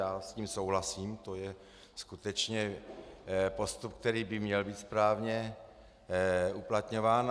Já s tím souhlasím, to je skutečně postup, který by měl být správně uplatňován.